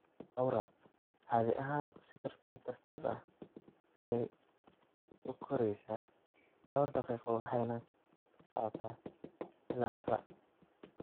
Aura caadi ahaan si tartiib tartiib ah ayey u koreysaa dhowr daqiiqo waxayna socotaa ilaa hal saac.